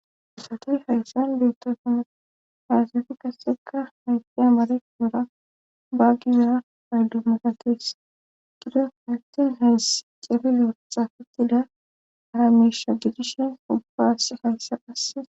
Isatoy hayssan beettosuna fayasefi qasekka hayti amare guuura baagizara payldu makatees gido hanten hays cefilo xafetida haramisha gidishen ubbaas hayssaasse.